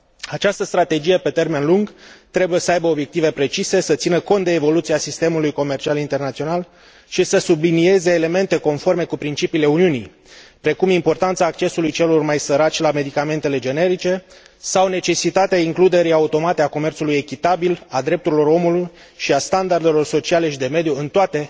Această strategie pe termen lung trebuie să aibă obiective precise, să țină cont de evoluția sistemului comercial internațional și să sublinieze elemente conforme cu principiile Uniunii, precum importanța accesului celor mai săraci la medicamentele generice sau necesitatea includerii automate a comerțului echitabil, a drepturilor omului și a standardelor sociale și de mediu în toate